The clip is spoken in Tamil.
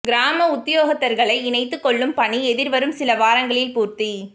கிராம உத்தியோகத்தர்களை இணைத்துக் கொள்ளும் பணி எதிர்வரும் சில வாரங்களில் பூர்த்தி